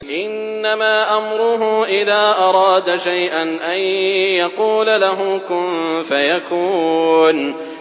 إِنَّمَا أَمْرُهُ إِذَا أَرَادَ شَيْئًا أَن يَقُولَ لَهُ كُن فَيَكُونُ